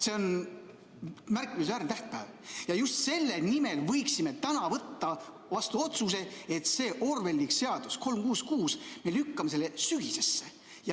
See on märkimisväärne tähtpäev ja just selle nimel võiksime täna võtta vastu otsuse, et me lükkame selle orwelliliku seadus 366 sügisesse.